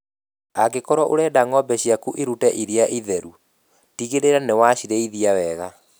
Angĩkorwo ũrenda ng'ombe ciaku irute iria rĩingĩ itheru, tigĩlĩla nĩwacirĩithia wega